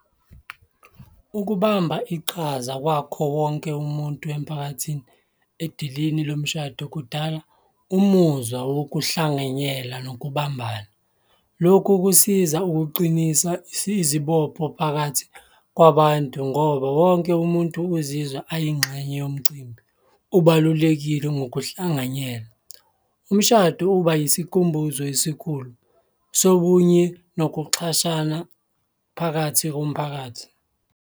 Ukubamba iqhaza kwakho wonke umuntu emphakathini edilini lomshado kudala umuzwa wokuhlanganyela nokubambana. Lokhu kusiza ukuqinisa izibopho phakathi kwabantu ngoba wonke umuntu uzizwa ayingxenye yomcimbi, ubalulekile ngokuhlanganyela. Umshado uba yisikhumbuzo esikhulu sobunye nokuxhashana phakathi komphakathi.